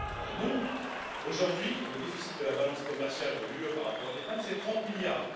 Non! Aujourd'hui, le déficit de la balance commerciale de l'Union par rapport au Viêt Nam représente 30 milliards.